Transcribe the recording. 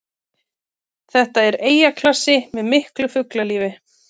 Þetta er eyjaklasi með miklu fuglalífi